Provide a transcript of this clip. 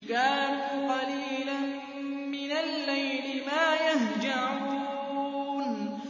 كَانُوا قَلِيلًا مِّنَ اللَّيْلِ مَا يَهْجَعُونَ